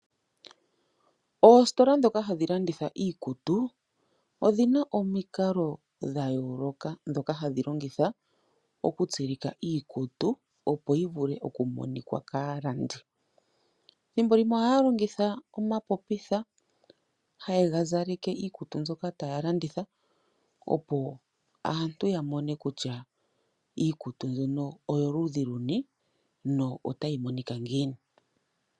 Oositola dhoka hadhi landitha iikutu odhina omikalo dha yooloka hadhi longitha okutsilika iikutu opo yi wape oku monika kaalandi. Ethimbo limwe ohaya longitha omapopitha haye gazaleke iikutu mbyoka taa landitha, opo aantu yamone kutya iikutu mbyono oyoludhi luni notayi monika ngiini.